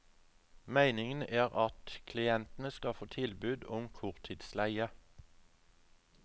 Meningen er at klientene skal få tilbud om korttidsleie.